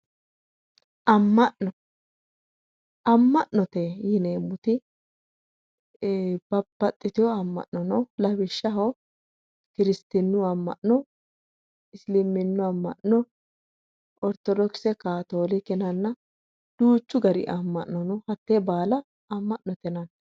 Ama'no, ama'noye yineemmoti babbaxitino ama'no no lawishshaho kirsitinu ama'no, isliminu ama'no no, orthodokise, katolike yinnanna duuchu gari ama'no no hate baalla ama'note yinnanni.